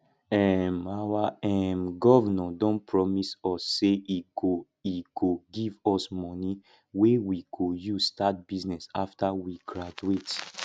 um our um governor don promise us say he go he go give us money wey we go use start business after we graduate